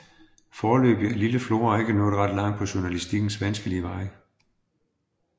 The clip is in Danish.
Foreløbig er lille Flora ikke nået ret langt på journalistikkens vanskelige vej